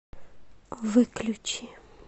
выключи